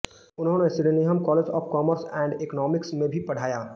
उन्होंने Sydenham College of Commerce and Economics में भी पढ़ाया